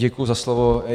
Děkuji za slovo.